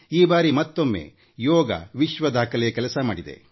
ಈ ಬಾರಿಯೂ ಯೋಗ ಮತ್ತೊಮ್ಮೆ ವಿಶ್ ದಾಖಲೆ ಮಾಡಿತು